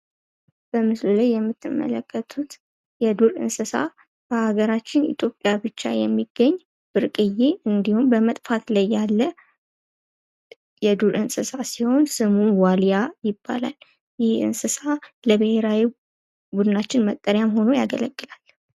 የምትመለከቱት የዱር እንስሳ ሀገራችን ኢትዮጵያ ብቻ የሚገኝ ብርቅዬ እንዲሆን በመጥፋት ላይ ያለ የዱር እንስሳት ሲሆን ስሙ ዋልያ ይባላል። ይህ የእንስሳ ለብሄራዊ ቡድናችን መጠሪያ ሆኖ ያገለግላል።